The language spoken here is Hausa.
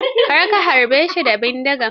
Kar ka harbe shi da bindiga.